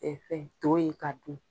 E fɛn, to ye ka dun.